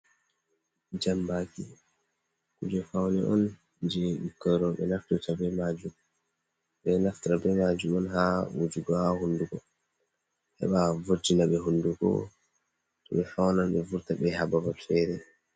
Jambaki kuje fawne on je bikkoy rewɓe naftirta majum beɗon naftira be majum on ha wujugo ha hunnduko, heɓa vurtinaɓe hunduko to be faunan be vurta be habarul fere.